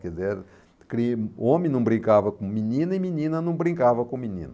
Quer dizer, era crime, homem não brincava com menina e menina não brincava com menino.